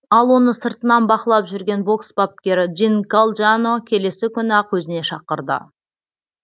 ал оны сыртынан бақылап жүрген бокс бапкері джин калджано келесі күні ақ өзіне шақырды